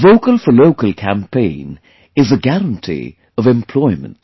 The Vocal For Local campaign is a guarantee of employment